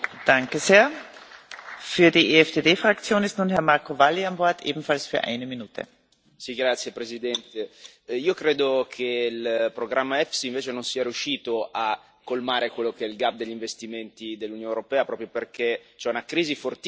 Signora Presidente, onorevoli colleghi, io credo che il programma EFSI invece non sia riuscito a colmare quello che è il degli investimenti dell'Unione europea, proprio perché c'è una crisi fortissima della domanda e questo è legato ai vincoli che sono stati introdotti nei nostri trattati, che andrebbero rivisti.